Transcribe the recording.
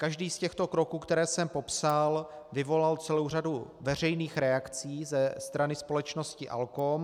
Každý z těchto kroků, které jsem popsal, vyvolal celou řadu veřejných reakcí ze strany společnosti ALKOM.